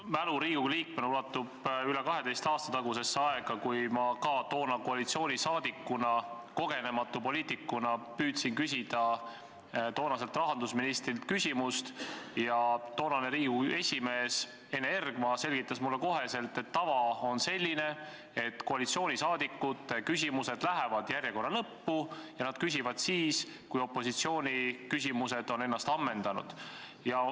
Minu mälu Riigikogu liikmena ulatub üle 12 aasta tagusesse aega, kui ma ka toona koalitsioonis olles, aga kogenematu poliitikuna püüdsin küsida tolleaegselt rahandusministrilt küsimust, aga Riigikogu esimees Ene Ergma selgitas mulle kohe, et tava kohaselt lähevad koalitsiooniliikmete küsimused järjekorra lõppu ja nemad küsivad siis, kui opositsiooni küsimused on ammendunud.